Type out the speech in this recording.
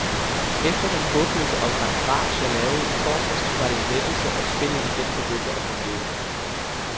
Efter den håbløse omgang bras jeg lavede i torsdags var det en lettelse, at spillet igen begyndte at fungere.